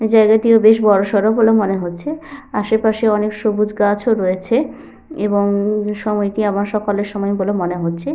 এই জায়গাটিও বেশ বড়সড় বলে মনে হচ্ছে। আশেপাশে অনেক সবুজ গাছ ও রয়েছে এবং সময়টি আমার সকালের সময় বলে মনে হচ্ছে।